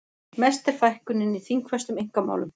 Mest er fækkunin í þingfestum einkamálum